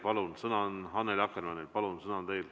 Palun, sõna on Annely Akkermannil.